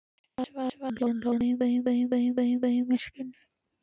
svaraði hún þar sem hún lá út af í myrkrinu.